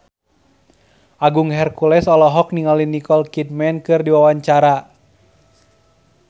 Agung Hercules olohok ningali Nicole Kidman keur diwawancara